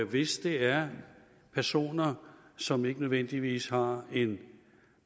hvis det er personer som ikke nødvendigvis har en